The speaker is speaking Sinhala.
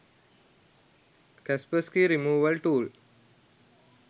kaspersky removal tool